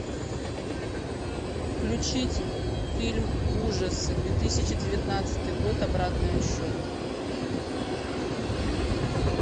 включить фильм ужасы две тысячи девятнадцатый год обратный отсчет